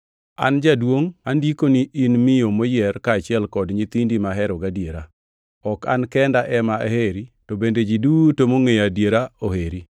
An Jaduongʼ, Andikoni in miyo moyier kaachiel kod nyithindi mahero gadiera, ok an kenda, ema aheri to bende ji duto mongʼeyo adiera oheri